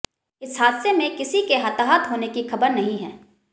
इस हादसे में किसी के हताहत होने की खबर नहीं है